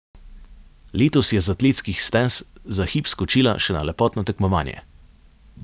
Letos je z atletskih stez za hip skočila še na lepotno tekmovanje.